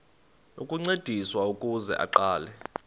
ukuncediswa ukuze aqale